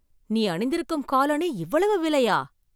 நீ அணிந்திருக்கும் காலனி இவ்வளவு விலையா?